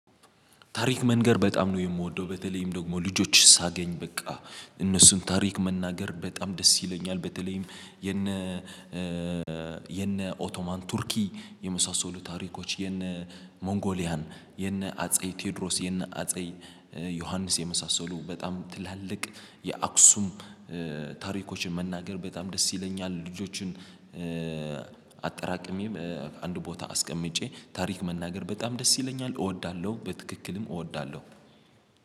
ታሪክ መንገር በጣም ነው የምወደው በተለይም ደግሞ ልጆችን ሳገኝ በቃ እነሱን ታሪክ መናገር በጣም ደስ ይለኛል በተለይም የነ የነ ኦቶማን ቱርኪ የመሳሰሉ ታሪኮች የነ ሞንጎሊያን የነ አጼ ቴዎድሮስ የነ አጼ ዮሐንስ የመሳሰሉ በጣም ትላልቅ የአክሱም ታሪኮችን መናገር በጣም ደስ ይለኛል። ልጆችን አንድ ቦታ አስቀምጬ ታሪክ መናገር በጣም ደስ ይለኛል እወዳለሁ። በትክክልም እወዳለሁ።